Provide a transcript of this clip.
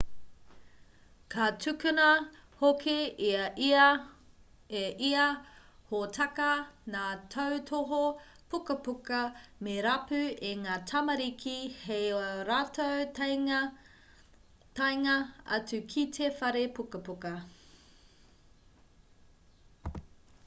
ka tukuna hoki e ia hōtaka ngā tautohu pukapuka me rapu e ngā tamariki hei ā rātou taenga atu ki te whare pukapuka